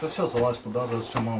O hər şeyi ora saldı, batırdı.